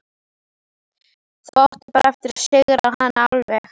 Þá áttu bara eftir að sigra hana alveg.